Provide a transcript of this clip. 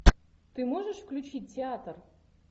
ты можешь включить театр